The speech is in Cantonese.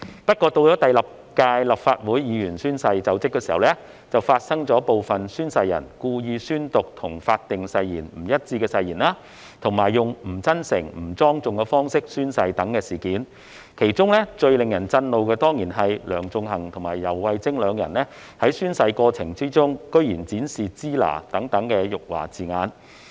不過，到了第六屆立法會議員宣誓就職時，卻發生部分宣誓人故意宣讀與法定誓言不一致的誓言，以及以不真誠、不莊重的方式宣誓等事件，其中最令人震怒的，當然是梁頌恆和游蕙禎兩人居然在宣誓過程中展示"支那"等辱華字眼。